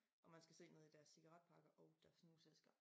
Og man skal se nede i deres cigaretpakker og deres snusæsker